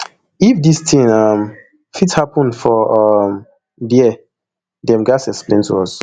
if dis tin um fit happun for um dia dem gatz explain to us